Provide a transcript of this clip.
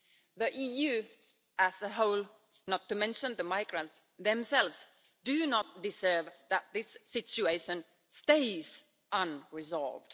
The EU as a whole, not to mention the migrants themselves, do not deserve that this situation stays unresolved.